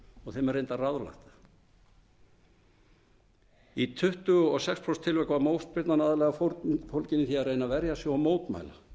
og þeim er reyndar ráðlagt það í tuttugu og sex prósent tilvika var mótspyrnan aðallega fólgin í því að reyna að verja sig og mótmæla